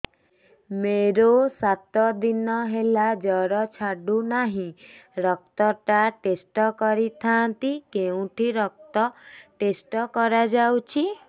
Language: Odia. ମୋରୋ ସାତ ଦିନ ହେଲା ଜ୍ଵର ଛାଡୁନାହିଁ ରକ୍ତ ଟା ଟେଷ୍ଟ କରିଥାନ୍ତି କେଉଁଠି ରକ୍ତ ଟେଷ୍ଟ କରା ଯାଉଛି